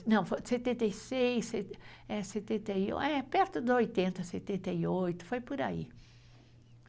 Não. Setenta e seis. É setenta e oito. É, perto dos oitenta. Setenta e oito, foi por aí.